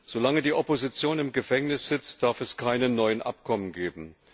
Solange die Opposition im Gefängnis sitzt, darf es keine neuen Abkommen geben.